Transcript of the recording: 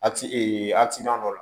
A ti dɔ la